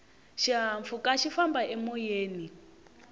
xihahampfhuka xi famba emoyeni